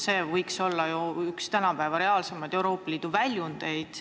See võiks ju olla tänapäeval üks reaalsemaid Euroopa Liidu väljundeid.